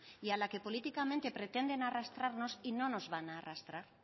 y a la que políticamente pretenden arrastrarnos y no nos van a arrastrar